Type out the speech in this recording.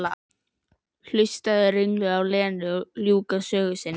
Og hlustaði ringluð á Lenu ljúka sögu sinni.